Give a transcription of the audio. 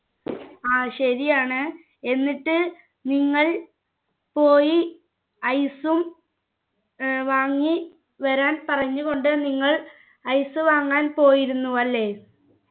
ശരിയാണ് എന്നിട്ട് നിങ്ങൾ പോയി ice ഉം ഏർ വാങ്ങി വരാൻ പറഞ്ഞു കൊണ്ട് നിങ്ങൾ ice വാങ്ങാൻ പോയിരുന്നു അല്ലെ